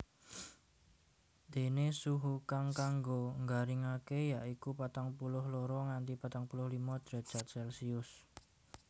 Déné suhu kang kanggo nggaringaké ya iku patang puluh loro nganti patang puluh limo drajat Celcius